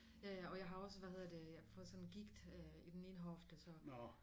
Ja ja og jeg har også hvad hedder det fået sådan gigt i den ene hofte så